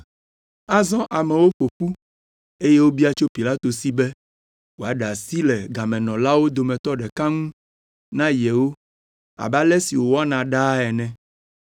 Azɔ amewo ƒo ƒu eye wobia tso Pilato si be wòaɖe asi le gamenɔlawo dometɔ ɖeka ŋu na yewo abe ale si wòwɔna ɖaa ene.